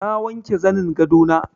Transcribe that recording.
Na wanke zanin gado na.